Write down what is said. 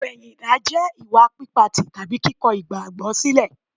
Ìpẹ̀yìndà jẹ́ ìwà pípa tì tàbí kíkọ igbagbo sílẹ̀.